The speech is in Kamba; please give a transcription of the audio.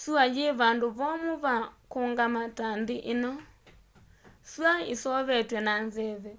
sua yii vandũ vomũ va kũungama ta nthi ino. sua yiseovetwe na nzeve